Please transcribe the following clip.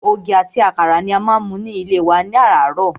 Ògì ati àkàrà ni a má ń mu ní ilé wa láràárọ̀.